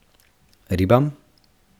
Ribam?